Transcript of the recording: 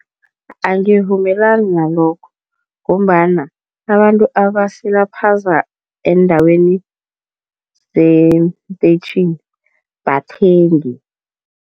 Angivumelani nalokho ngombana abantu abasilaphaza eendaweni zeentetjhini bathengi.